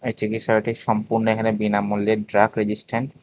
চিকিৎসালয়টি সম্পূর্ণ এখানে বিনামূল্যে ড্রাগ রেজিস্ট্যান্ট ।